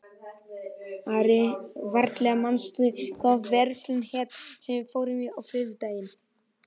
Valgerða, manstu hvað verslunin hét sem við fórum í á þriðjudaginn?